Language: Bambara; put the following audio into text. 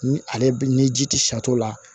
Ni ale ni ji ti sa t'o la